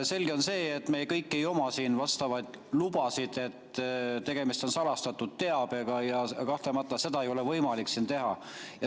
Selge on see, et me kõik ei oma siin vastavaid lubasid, tegemist on salastatud teabega, ja kahtlemata seda ei ole võimalik siin teha.